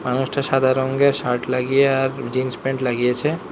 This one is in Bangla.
মানুষটা সাদা রঙ্গের শার্ট লাগিয়ে আর জিন্স প্যান্ট লাগিয়েছে।